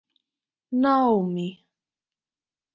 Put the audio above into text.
Naomí